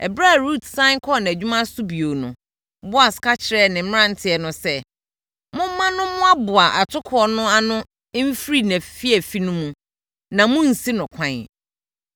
Ɛberɛ a Rut sane kɔɔ nʼadwuma so bio no, Boas ka kyerɛɛ ne mmeranteɛ no sɛ, “Momma no mmoaboa atokoɔ no ano mfiri nʼafiafi no mu na monnsi no kwan.